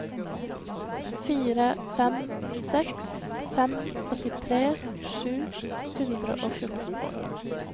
fire fem seks fem åttitre sju hundre og fjorten